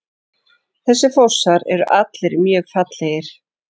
Þessir fossar eru allir mjög fallegir.